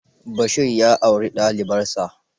Bashir ya auri dalibarsa.